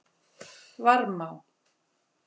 Varmá